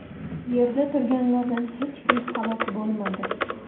Yerda turganlardan hech kim halok bo‘lmadi.